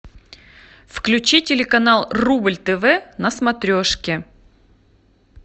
включи телеканал рубль тв на смотрешке